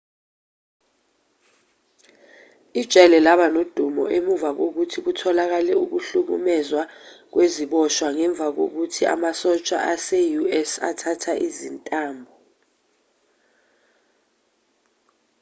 ijele laba nodumo emuva kokuthi kutholakale ukuhlukumezwa kweziboshwa ngemuva kokuthi amasosha ase-us athatha izintambo